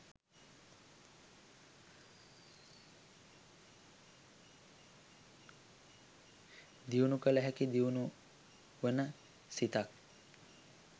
දියුණු කළ හැකි දියුණු වන සිතක්.